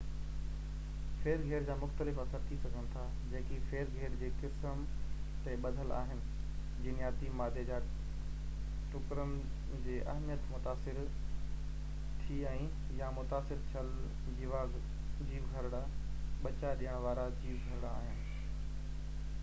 ڦير گهير جا مختلف اثر ٿي سگهن ٿا جيڪي ڦير گهير جي قسم تي ٻڌل آهن جينياتي مادي جا ٽڪرن جي اهميت متاثر ٿي ۽ يا متاثر ٿيل جيو گهرڙا ٻچا ڏيڻ وارا جيوگهرڙا آهن